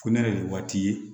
Ko ne yɛrɛ de ye waati ye